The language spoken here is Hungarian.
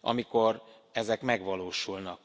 amikor ezek megvalósulnak.